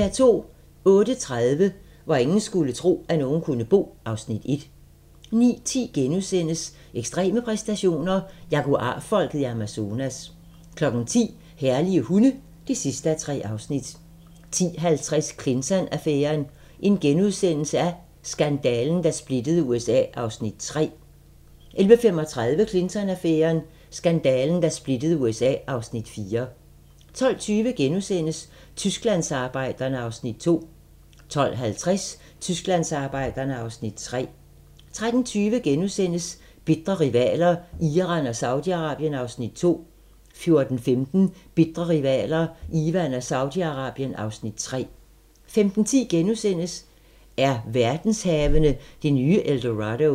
08:30: Hvor ingen skulle tro, at nogen kunne bo (Afs. 1) 09:10: Ekstreme præstationer: Jaguar-folket i Amazonas * 10:00: Herlige hunde (3:3) 10:50: Clinton-affæren: Skandalen, der splittede USA (Afs. 3)* 11:35: Clinton-affæren: Skandalen, der splittede USA (Afs. 4) 12:20: Tysklandsarbejderne (Afs. 2)* 12:50: Tysklandsarbejderne (Afs. 3) 13:20: Bitre rivaler: Iran og Saudi-Arabien (Afs. 2)* 14:15: Bitre rivaler: Iran og Saudi-Arabien (Afs. 3) 15:10: Er verdenshavene det nye El Dorado?